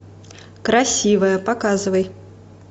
красивая показывай